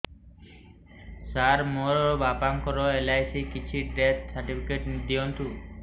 ସାର ମୋର ବାପା ଙ୍କର ଏଲ.ଆଇ.ସି ଅଛି ଡେଥ ସର୍ଟିଫିକେଟ ଦିଅନ୍ତୁ